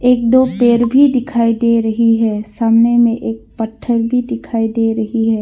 एक दो पेड़ भी दिखाई दे रही है सामने में एक पत्थर भी दिखाई दे रही है।